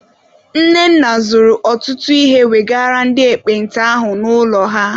Nnenna zụrụ ọtụtụ ihe wegara ndị ekpenta ahụ n'ụlọ ha.